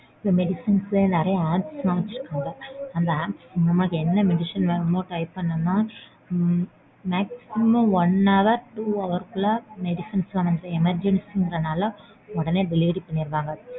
இந்த medicines லயே நறைய apps லாம் வெட்சுருக்காங்க. அந்த apps மூலமா என்ன medicine வேணுமோ type பண்ணம்னா உம் maximum one hour or two housr க்குள்ள medicines லாம் emergency ங்கறதுனால உடனே delivery பண்ணிடுவாங்க.